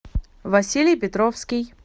василий петровский